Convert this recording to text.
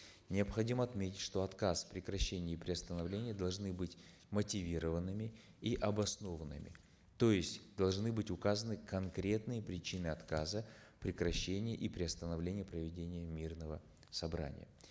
необходимо отметить что отказ прекращение и приостановление должны быть мотивированными и обоснованными то есть должны быть указаны конкретные причины отказа прекращения и приостановления проведения мирного собрания